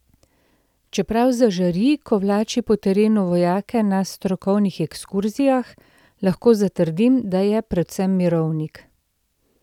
Čeprav zažari, ko vlači po terenu vojake na strokovnih ekskurzijah, lahko zatrdim, da je predvsem mirovnik.